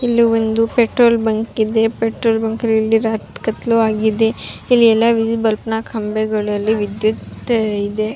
ಇಲ್ಲಿ ಒಂದು petrol bunk ಇದೆ ಪೆಟ್ರೋಲ್ ಬಂಕ್ ರಾತ್ ಕತ್ತ್ಲು ಆಗಿದೆ ಇಲ್ಲಿ ಎಲ್ಲ ವಿದ್ಯುತ್ ಬಲ್ಬ್ ನ ಕಂಬಗಳಲ್ಲಿ ವಿದ್ಯುತ್ ಇದೆ.